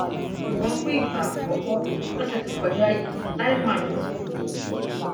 ṣùgbọn fún ìgbà àkọkọ lọsẹ tó kọjá yìí lai muhammed sọ òdodo